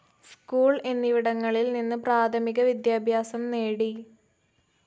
School എന്നിവിടങ്ങളിൽ നിന്ന് പ്രാഥമിക വിദ്യാഭ്യാസം നേടി.